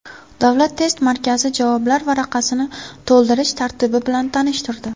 Davlat test markazi javoblar varaqasini to‘ldirish tartibi bilan tanishtirdi.